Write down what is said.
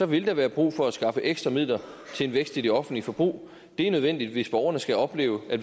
vil der være brug for at skaffe ekstra midler til en vækst i det offentlige forbrug det er nødvendigt hvis borgerne skal opleve at